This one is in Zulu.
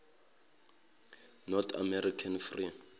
north american free